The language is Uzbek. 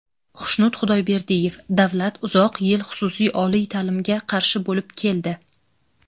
Xushnud Xudoyberdiyev: Davlat uzoq yil xususiy oliy ta’limga qarshi bo‘lib keldi.